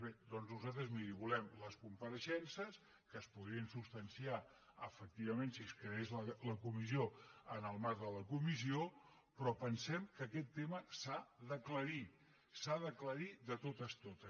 bé doncs nosaltres miri volem les compareixences que es podrien substanciar efectivament si es creés la comissió en el marc de la comissió però pensem que aquest tema s’ha d’aclarir s’ha d’aclarir de totes totes